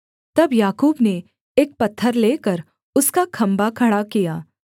तब याकूब ने एक पत्थर लेकर उसका खम्भा खड़ा किया